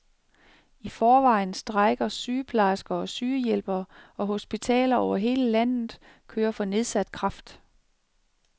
I forvejen strejker sygeplejersker og sygehjælpere, og hospitaler over hele landet kører for nedsat kraft.